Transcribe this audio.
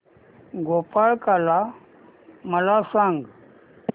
गोपाळकाला मला सांग